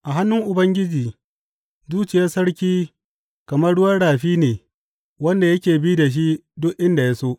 A hannun Ubangiji zuciyar sarki kamar ruwan rafi ne wanda yake bi da shi duk inda ya so.